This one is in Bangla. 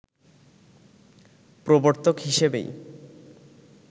প্রবর্তক হিসেবেই